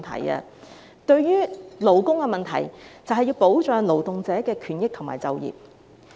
關於勞工問題，我們正是要保障勞動者的權益和就業。